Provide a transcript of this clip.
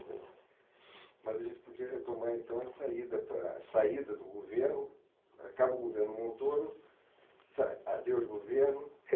Mas a gente podia retomar, então, a saída para, a saída do governo, acaba o governo Montoro, sai, adeus governo...